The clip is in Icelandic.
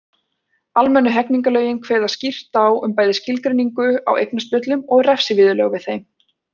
Almennu hegningarlögin kveða skýrt á um bæði skilgreiningu á eignaspjöllum og refsiviðurlög við þeim.